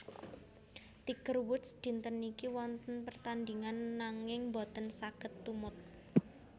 Tiger Woods dinten niki wonten pertandingan nanging mboten saget tumut